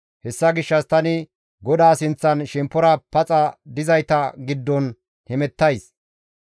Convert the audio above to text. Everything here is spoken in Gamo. Hessa gishshas tani GODAA sinththan shemppora paxa dizayta giddon hemettays.